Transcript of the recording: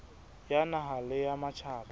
ya naha le ya matjhaba